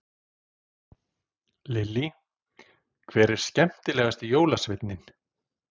Lillý: Hver er skemmtilegast jólasveinninn?